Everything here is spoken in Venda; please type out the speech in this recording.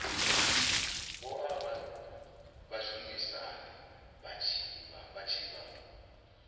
oa vhashumisani vha tshi vha